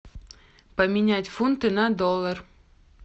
поменять фунты на доллар